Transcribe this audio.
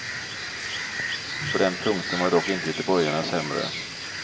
På den punkten var dock inte göteborgarna sämre.